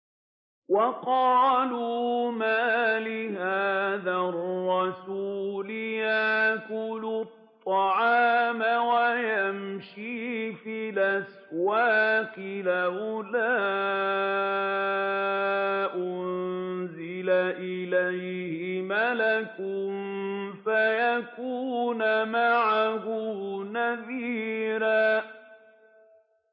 وَقَالُوا مَالِ هَٰذَا الرَّسُولِ يَأْكُلُ الطَّعَامَ وَيَمْشِي فِي الْأَسْوَاقِ ۙ لَوْلَا أُنزِلَ إِلَيْهِ مَلَكٌ فَيَكُونَ مَعَهُ نَذِيرًا